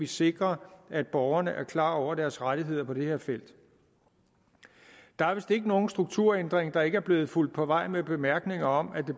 sikre at borgerne er klar over deres rettigheder på det her felt der er vist ikke nogen strukturændring der ikke er blevet fulgt på vej med bemærkninger om at det